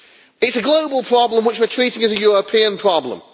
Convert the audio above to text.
It is a global problem which we are treating as a European problem.